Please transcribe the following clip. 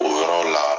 O yɔrɔ la